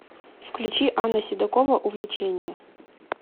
включи анна седокова увлечение